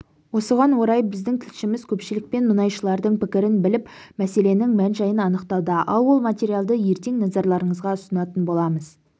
осыған орай біздің тілшіміз көпшілік пен мұнайшылардың пікірін біліп мәселенің мән-жайын анықтауда ал ол материалды ертең назарларыңызға ұсынатын боламыз